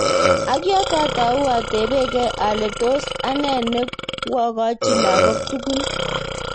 Ak yotok atau atebegei ale tos ane nekwokoji lakok tugul.